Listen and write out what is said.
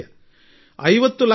ಈ ಮಾತನ್ನು ಯಾರೂ ನಂಬಲಿಕ್ಕಾಗುವುದಿಲ್ಲ